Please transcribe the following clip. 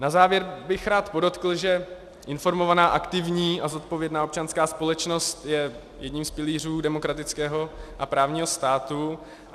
Na závěr bych rád podotkl, že informovaná, aktivní a zodpovědná občanská společnost je jedním z pilířů demokratického a právního státu.